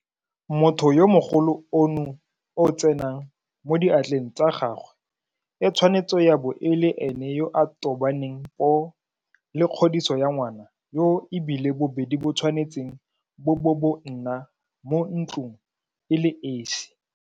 Motho yo mogolo ono o tsenang mo diatleng tsa gagwe e tshwanetse ya bo e le ene yo a tobaneng poo le kgodiso ya ngwana yoo e bile bobedi bo tshwanetse bo bo bo nna mo ntlong e le esi.